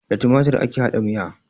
Da tumatur ake haɗa miya